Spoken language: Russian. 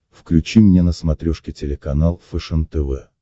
включи мне на смотрешке телеканал фэшен тв